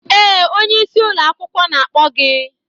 Ee, onye isi ụlọ akwụkwọ na-akpọ gị